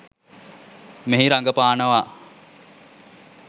මෙහි රඟපානවා